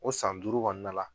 O san duuru kɔnɔna la